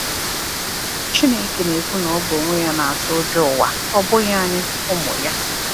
"Chineke na-ekwu na Ọ bụ onwe Ya na-atụ ụjọ ụwa, ọ bụghị anyị, ụmụ Ya."